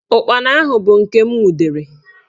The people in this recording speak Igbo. Ụkpana ahụ bụ nke m nwudere